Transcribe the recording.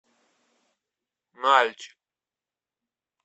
нальчик